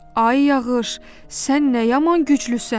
Ay yağış, sən nə yaman güclüsən?